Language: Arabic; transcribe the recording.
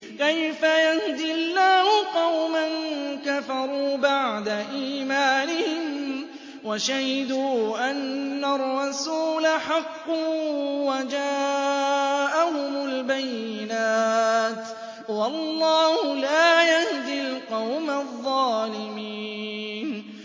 كَيْفَ يَهْدِي اللَّهُ قَوْمًا كَفَرُوا بَعْدَ إِيمَانِهِمْ وَشَهِدُوا أَنَّ الرَّسُولَ حَقٌّ وَجَاءَهُمُ الْبَيِّنَاتُ ۚ وَاللَّهُ لَا يَهْدِي الْقَوْمَ الظَّالِمِينَ